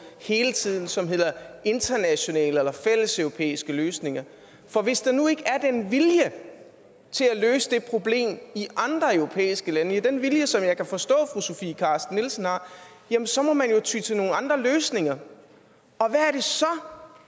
hele tiden og som hedder internationale eller fælleseuropæiske løsninger for hvis der nu ikke er den vilje til at løse det problem i andre europæiske lande den vilje som jeg kan forstå fru sofie carsten nielsen har jamen så må man jo ty til nogle andre løsninger og